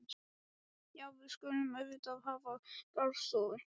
Já, við skulum auðvitað hafa garðstofu.